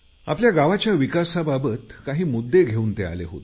आपल्या गावाच्या विकासाबाबत मुद्दे घेऊन ते आले होते